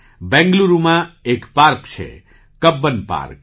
બેંગ્લુરુમાં એક પાર્ક છે - Cubbon park